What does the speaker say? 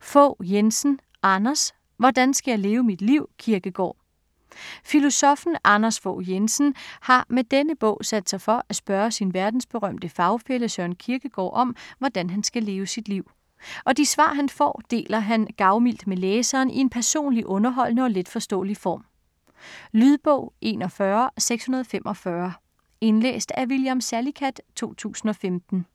Fogh Jensen, Anders: Hvordan skal jeg leve mit liv, Kierkegaard? Filosoffen Anders Fogh Jensen har med denne bog sat sig for at spørge sin verdensberømte fagfælle Søren Kierkegaard om, hvordan han skal leve sit liv. Og de svar han får, deler han gavmildt med læseren i en personlig, underholdende og letforståelig form. Lydbog 41645 Indlæst af William Salicath, 2015.